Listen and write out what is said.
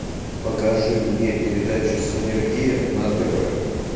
покажи мне передачу синергия на тв